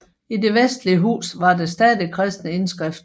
I det vestligste hus var der stadig kristne indskrifter